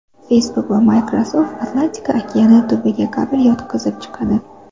Facebook va Microsoft Atlantika okeani tubiga kabel yotqizib chiqadi.